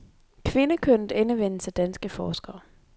Kvindekønnet endevendes af danske forskere.